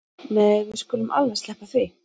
Nei við skulum alveg sleppa því